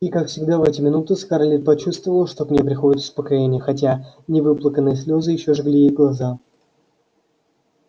и как всегда в эти минуты скарлетт почувствовала что к ней приходит успокоение хотя невыплаканные слезы ещё жгли ей глаза